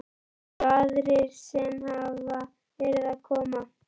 Eins og aðrir sem hafa verið að koma?